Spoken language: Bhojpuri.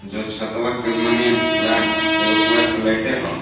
जे छतवा तवन माने पूड़ा एगो पूरा फ्लैटे ह.